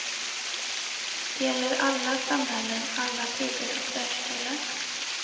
Det gäller alla samhällen, alla tider och världsdelar.